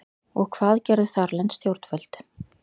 Og hvað gerðu þarlend stjórnvöld?